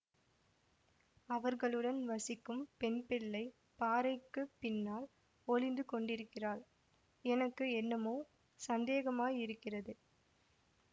அவர்களுடன் வசிக்கும் பெண்பிள்ளை பாறைக்குப் பின்னால் ஒளிந்து கொண்டிருக்கிறாள் எனக்கு என்னமோ சந்தேகமாயிருக்கிறது